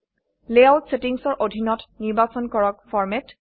layout settingsৰ অধীনত নিৰ্বাচন কৰক ফৰমেট